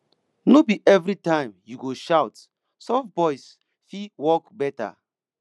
no be every time you go shout soft voice fit work better